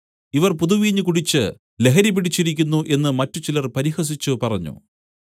ഇവർ പുതുവീഞ്ഞ് കുടിച്ച് ലഹരിപിടിച്ചിരിക്കുന്നു എന്നു മറ്റ് ചിലർ പരിഹസിച്ച് പറഞ്ഞു